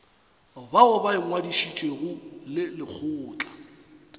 bao ba ingwadišitšego le lekgotla